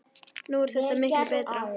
Nú er þetta miklu betra.